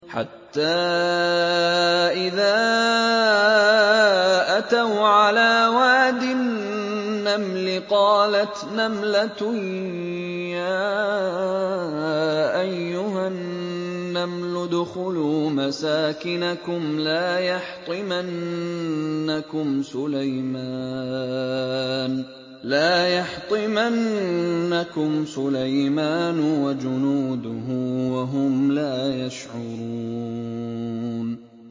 حَتَّىٰ إِذَا أَتَوْا عَلَىٰ وَادِ النَّمْلِ قَالَتْ نَمْلَةٌ يَا أَيُّهَا النَّمْلُ ادْخُلُوا مَسَاكِنَكُمْ لَا يَحْطِمَنَّكُمْ سُلَيْمَانُ وَجُنُودُهُ وَهُمْ لَا يَشْعُرُونَ